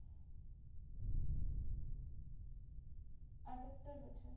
আটাত্তর বছর